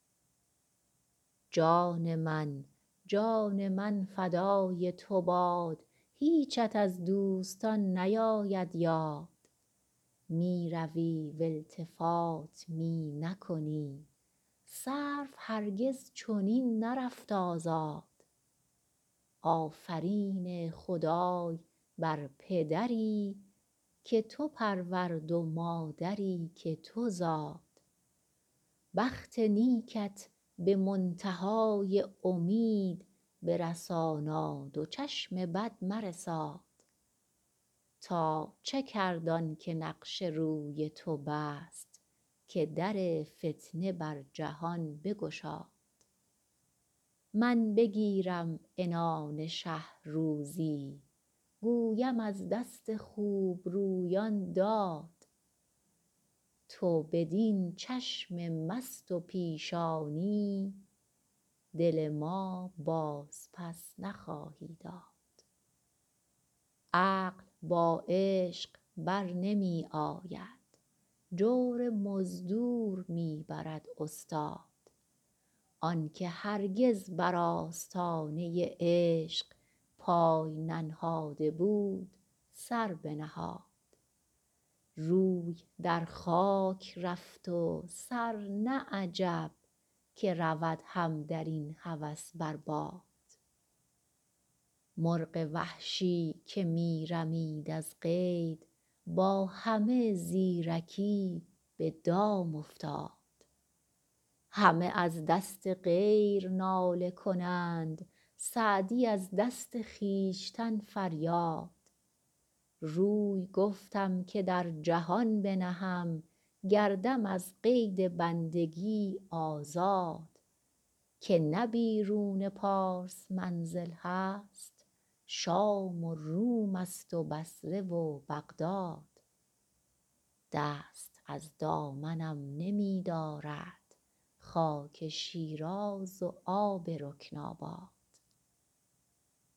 جان من جان من فدای تو باد هیچت از دوستان نیاید یاد می روی و التفات می نکنی سرو هرگز چنین نرفت آزاد آفرین خدای بر پدری که تو پرورد و مادری که تو زاد بخت نیکت به منتها ی امید برساناد و چشم بد مرساد تا چه کرد آن که نقش روی تو بست که در فتنه بر جهان بگشاد من بگیرم عنان شه روزی گویم از دست خوبرویان داد تو بدین چشم مست و پیشانی دل ما بازپس نخواهی داد عقل با عشق بر نمی آید جور مزدور می برد استاد آن که هرگز بر آستانه عشق پای ننهاده بود سر بنهاد روی در خاک رفت و سر نه عجب که رود هم در این هوس بر باد مرغ وحشی که می رمید از قید با همه زیرکی به دام افتاد همه از دست غیر ناله کنند سعدی از دست خویشتن فریاد روی گفتم که در جهان بنهم گردم از قید بندگی آزاد که نه بیرون پارس منزل هست شام و روم ست و بصره و بغداد دست از دامنم نمی دارد خاک شیراز و آب رکن آباد